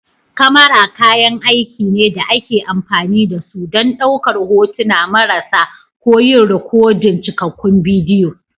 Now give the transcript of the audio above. kamara kayan aiki ne da ake amfani da su don ɗaukar hotuna marasa ko yin rikodin cikakkun bidiyo